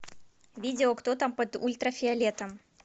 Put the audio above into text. видео кто там под ультрафиолетом